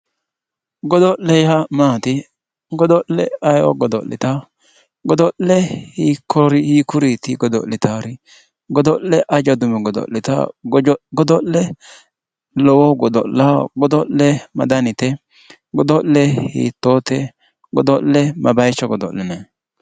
godo'le yaa maati godo'le ayeeoo godo'litawo godo'le hiikkuriiti godo'litaari? godo'le aja dumeno godo'litawo godo'le lowohu godo'lawo godo'le ma danite? godo'le hiittoote godo'le ma bayiicho godo'linanni?